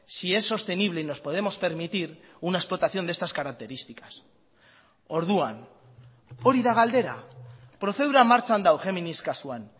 si es sostenible y nos podemos permitir una explotación de estas características orduan hori da galdera prozedura martxan dago géminis kasuan